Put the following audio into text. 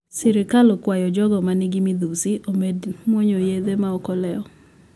Sirkal okwayo jogo manigi midhusi omed muonyo yedhe maok oleo